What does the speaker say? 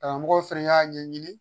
Karamɔgɔw fɛnɛ y'a ɲɛɲini